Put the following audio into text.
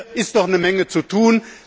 Hier ist noch eine Menge zu tun.